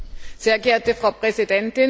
Sehr geehrte Frau Präsidentin!